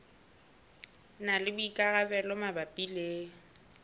na le boikarabelo mabapi le